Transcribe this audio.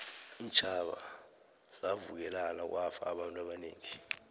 iintjhaba zavukelana kwafa abantu abanengi